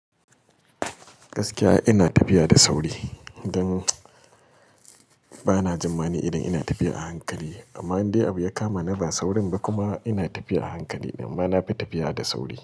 Gaskiya ina tafiya da sauri don bana tsammani idan ina tafiya a hankali amma in dai akwai abu da ya kama ni ba saurin ba kuma ina tafiya a hankali amma na fi tafiya da sauri.